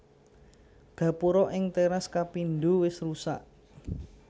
Gapura ing téras kapindho wis rusak